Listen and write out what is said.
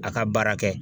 A ka baara kɛ